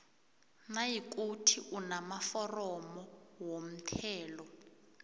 nayikuthi unamaforomo womthelo